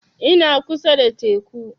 Ina kusa da teku